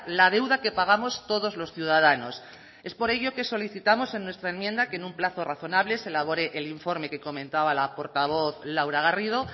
la deuda que pagamos todos los ciudadanos es por ello que solicitamos en nuestra enmienda que en un plazo razonable se elabore el informe que comentaba la portavoz laura garrido